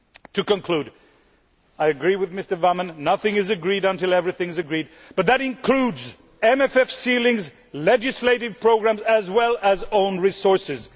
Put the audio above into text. To conclude, I agree with Mr Wammen nothing is agreed until everything is agreed, but that includes MFF ceilings and legislative programmes as well as own resources.